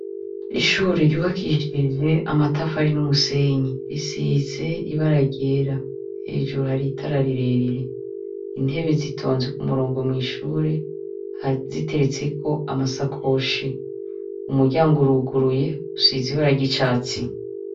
Ishure ryubakishije amatafari n'umusenyi, risize ibara ryera, hejuru hari itara rirerire, intebe zitonze ku murongo mw'ishure ziteretseko amasakoshi, umuryango uruguruye, usize ibara ry'icatsi.